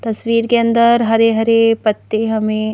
तस्वीर के अंदर हरे-हरे पत्ते हमें--